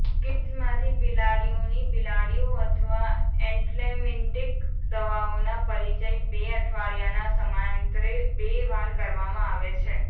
કીડ્સમાંથી બિલાડીઓની બિલાડીઓ અથવા એન્ટ્લેમમિન્ટિક દવાઓના પરિચય બે અઠવાડિયાના સમયાંતરે બે વાર કરવામાં આવે છે